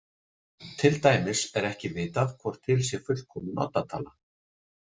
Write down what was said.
Til dæmis er ekki vitað hvort til sé fullkomin oddatala.